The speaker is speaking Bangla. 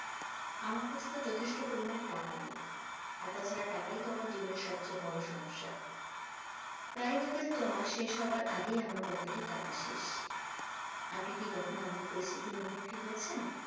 আমার কাছে তো যথেষ্ট পরিমাণে টাকা নেই আর তাছাড়া টাকাই তো আমার জীবনের সবচেয়ে বড় সমস্যা প্রায়ই দেখা যেত মাস শেষ হবার আগেই আমার pocket এর টাকা শেষ আপনি কী কখনো এমন পরিস্থিতির মুখোমুখি হয়েছেন?